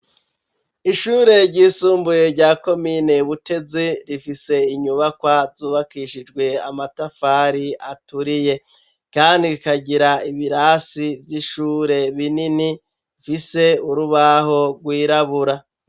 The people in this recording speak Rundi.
Ishure ry'isumbuye rya komine butezi rifise inyubakwa zubakishijwe amatafari aturiye kandi rikagira ibirasi vy'ishure binini bifise urubaho rwirabura.